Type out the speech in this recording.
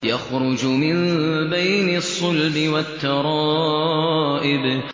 يَخْرُجُ مِن بَيْنِ الصُّلْبِ وَالتَّرَائِبِ